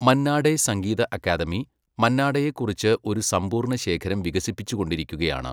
മന്നാഡേ സംഗീത അക്കാദമി മന്നാഡേയെക്കുറിച്ച് ഒരു സമ്പൂർണ്ണ ശേഖരം വികസിപ്പിച്ചുകൊണ്ടിരിക്കുകയാണ്.